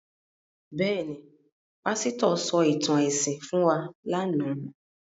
Bẹ́ẹ̀ ni, pásítọ̀ sọ ìtàn ẹ̀sìn fún wa lánàá.